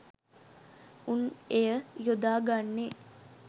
උන් එය යොදා ගන්නේ